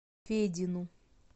федину